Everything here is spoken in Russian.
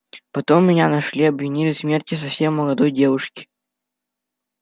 потом меня нашли и обвинили в смерти совсем молодой девушки